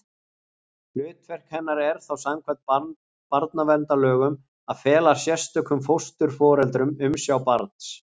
Hlutverk hennar er þá samkvæmt barnaverndarlögum að fela sérstökum fósturforeldrum umsjá barns.